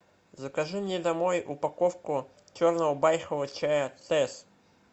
закажи мне домой упаковку черного байхового чая тэсс